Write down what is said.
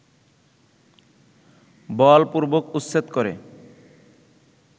বলপূর্বক উচ্ছেদ করে